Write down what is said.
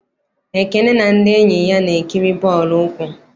Ekene na ndị enyi ya na-ekiri bọọlụ ụkwụ.